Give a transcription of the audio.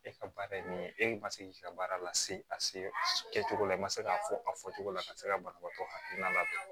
E ka baara ye nin ye e kun ma se k'i ka baara lase a se kɛcogo la i ma se k'a fɔ a fɔcogo la ka se ka banabaatɔ hakilina ladon